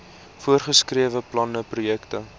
voorgeskrewe planne projekte